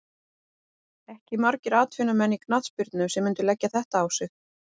Ekki margir atvinnumenn í knattspyrnu sem myndu leggja þetta á sig.